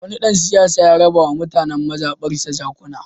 Wani ɗan siyasa ya raba wa mutanen mazaɓarsa jakuna.